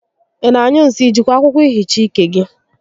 Ị na-anyụ nsị? I jikwa akwụkwọ ehicha ike gị?